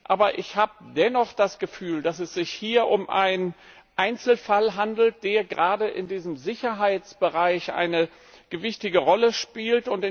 Aber ich habe dennoch das Gefühl, dass es sich hier um einen Einzelfall handelt, der gerade in diesem Sicherheitsbereich eine gewichtige Rolle spielt.